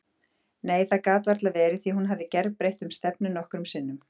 Nei, það gat varla verið því hún hafði gerbreytt um stefnu nokkrum sinnum.